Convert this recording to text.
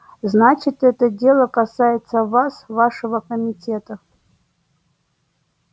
значит это дело касается вас вашего комитета